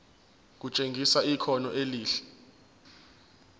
kutshengisa ikhono elihle